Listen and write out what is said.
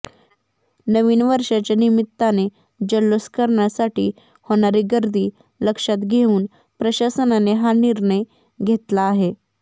नवीन वर्षाच्या निमित्ताने जल्लोष करण्यासाठी होणारी गर्दी लक्षात घेऊन प्रशासनाने हा निर्णय घेतला आहे